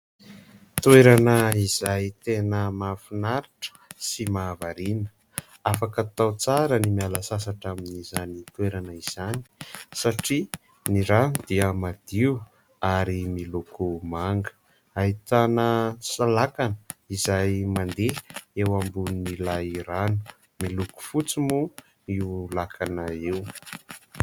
Toerana izay tena mahafinaritra sy mahavariana, afaka atao tsara ny miala sasatra amin'izany toerana izany satria ny rano dia madio ary miloko manga. Ahitana salakana izay mandeha eo ambonin'ilay rano, miloko fotsy moa io lakana io.